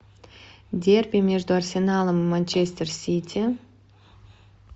дерби между арсеналом и манчестер сити